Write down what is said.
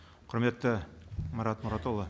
құрметті марат мұратұлы